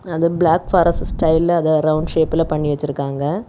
அத black forest ஸ்டைல அத ரவுண்டு ஷேப்ல பண்ணி வச்சிருக்காங்க.